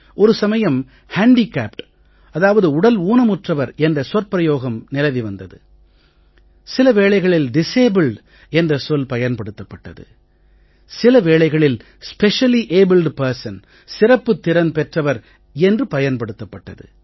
ஒரு சமயம் ஹேண்டிகேப்ட் அதாவது உடல் ஊனமுற்றவர் என்ற சொற்பிரயோகம் நிலவி வந்தது சில வேளைகளில் டிசபிள்ட் என்ற சொல் பயன்படுத்தப்பட்டது சிலவேளைகளில் ஸ்பெஷலி அபிள்ட் பெர்சன் சிறப்புத் திறன் பெற்றவர் என்று பயன்படுத்தப்பட்டது